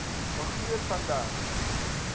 rogier van der